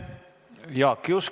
Aitäh!